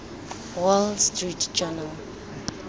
wall street journal